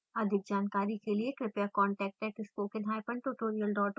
अधिक जानकारी के लिए कृपया contact @spokentutorial org पर लिखें